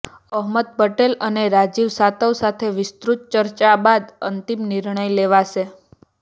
અહમદ પટેલ અને રાજીવ સાતવ સાથે વિસ્તૃત ચર્ચા બાદ અંતિમ નિર્ણય લેવાશે